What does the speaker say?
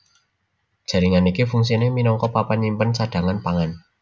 Jaringan iki fungsiné minangka papan nyimpen cadhangan pangan